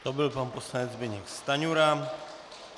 To byl pan poslanec Zbyněk Stanjura.